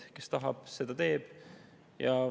Kes tahab, seda teeb.